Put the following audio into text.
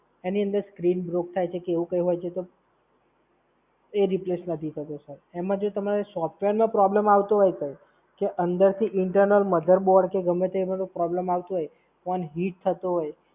એની અંદર screen broke થાય છે કે એવું કઈ હોય છે તો એ Replace નથી થતો sir. એમાં જો તમારે problem software આવતો હોય Sir, કે અંદરથી Internal mother board કે ગમ્મે તે એમાં કોઈ problem આવતો હોય, phone heat થતો હોય,